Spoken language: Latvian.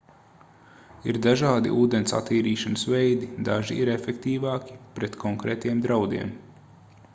ir dažādi ūdens attīrīšanas veidi daži ir efektīvāki pret konkrētiem draudiem